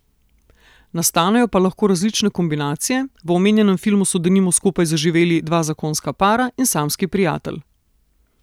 Nastanejo pa lahko različne kombinacije, v omenjenem filmu so denimo skupaj zaživeli dva zakonska para in samski prijatelj.